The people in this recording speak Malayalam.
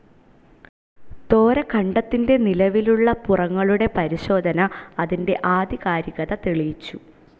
തോര ഖണ്ഡത്തിൻ്റെ നിലവിലുള്ള പുറങ്ങളുടെ പരിശോധന അതിൻ്റെ ആധികാരികത തെളിയിച്ചു.